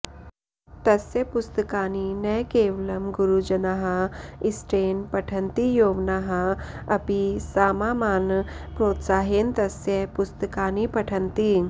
तस्य पुस्तकानि न केवलम् गुरुजनाः इष्टेन पठन्ति यौवनाः अपि सामामान प्रोत्साहेन तस्य पुस्तकानि पठन्ति